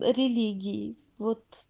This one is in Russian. религии вот